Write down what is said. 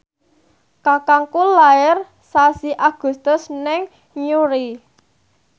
kakangku lair sasi Agustus ing Newry